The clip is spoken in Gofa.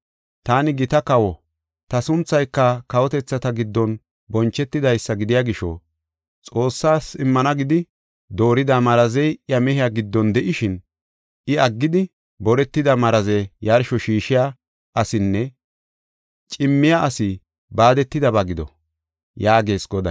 Taani gita kawo; ta sunthayka kawotethata giddon bonchetidaysa gidiya gisho, Xoossas immana gidi doorida marazey iya mehiya giddon de7ishin, iya aggidi, boretida maraze yarsho shiishiya asinne cimmiya asi baadetidaba gido” yaagees Goday.